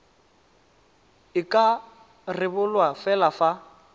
e ka rebolwa fela fa